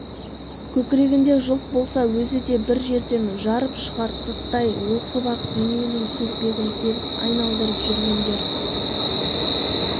көкірегінде жылт болса өзі де бір жерден жарып шығар сырттай оқып-ақ дүниенің телпегін теріс айналдырып жүргендер